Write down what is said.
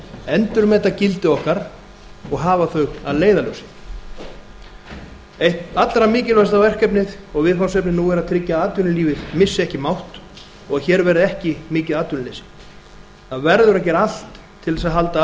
endurmeta gildi okkar og hafa þau að leiðarljósi eitt allra mikilvægasta verkefnið og viðfangsefnið nú er að tryggja að atvinnulífið missi ekki mátt og hér verði ekki mikið atvinnuleysi það verður að gera allt til þess að halda